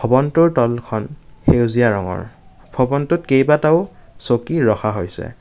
ভবনটোৰ তলখন সেউজীয়া ৰঙৰ ভবনটোত কেইবাটাও চকী ৰখা হৈছে।